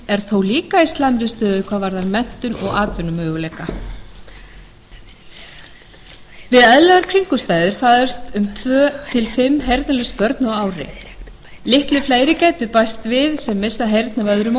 er þó líka í slæmri stöðu hvað varðar menntun og atvinnumöguleika við eðlilegar kringumstæður fæðast tvö til fimm heyrnarlaus börn á ári litlu fleiri gætu bæst við sem missa heyrn af öðrum